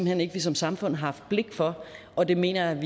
hen ikke vi som samfund har blik for og det mener jeg